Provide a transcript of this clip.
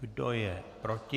Kdo je proti?